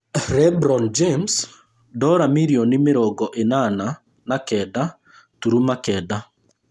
LeBron James ndora mirioni mĩrongo ĩnana na kenda turuma kenda